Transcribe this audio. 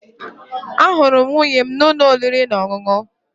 Ahụrụ m nwunye m n'ụlọ oriri na ọṅụṅụ